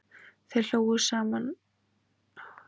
Þau hlógu og klöppuðu saman lófunum